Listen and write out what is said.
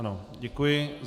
Ano, děkuji.